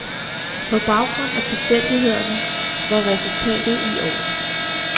På baggrund af tilfældighederne var resultatet i orden.